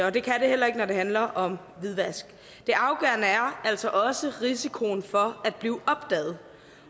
og det kan det heller ikke når det handler om hvidvask det afgørende er altså også risikoen for at blive opdaget